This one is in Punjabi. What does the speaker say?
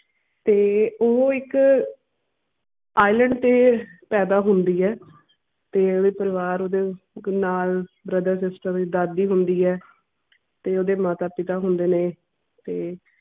ਤੇ ਓਹੋ ਇੱਕ iceland ਤੇ ਪੈਦਾ ਹੁੰਦੀ ਐ। ਤੇ ਓਹਦੇ ਪਰੀਵਾਰ ਓਹਦੇ ਨਾਲ brother sister ਦਾਦੀ ਹੁੰਦੀ ਐ, ਤੇ ਓਹਦੇ ਮਾਤਾ ਪਿਤਾ ਹੁੰਦੇ ਨੇ ਤੇ